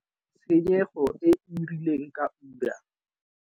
Tshenyego e e rileng ka ura.